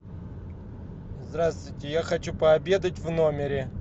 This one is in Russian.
здравствуйте я хочу пообедать в номере